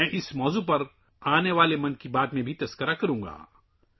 میں اس موضوع پر آئندہ ‘من کی بات’ میں بھی بات کروں گا